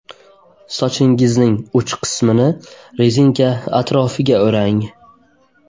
Sochingizning uch qismini rezinka atrofiga o‘rang.